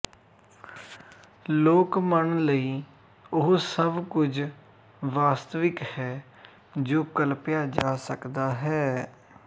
ਲੋਕ ਮਨ ਲਈ ਉਹ ਸਭ ਕੁਝ ਵਾਸਤਵਿਕ ਹੈ ਜੋ ਕਲਪਿਆ ਜਾ ਸਕਦਾ ਹੈ